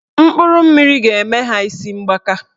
Mkpụrụ mmiri ga-eme ha isi mgbaka